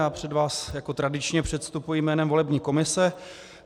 Já před vás jako tradičně předstupuji jménem volební komise.